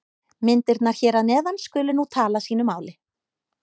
Myndirnar hér að neðan skulu nú tala sínu máli.